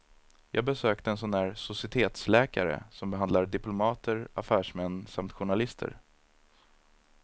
Jag besökte en sådan där societetsläkare som behandlar diplomater, affärsmän samt journalister.